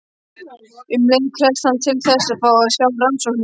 Um leið krefst hann þess að fá að sjá rannsóknina.